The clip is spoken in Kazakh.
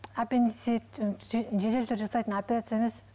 аппендицит жедел түрде жасайтын операция емес